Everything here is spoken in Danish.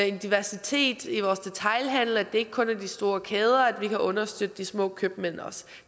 en diversitet i vores detailhandel at det ikke kun er de store kæder men at vi kan understøtte de små købmænd også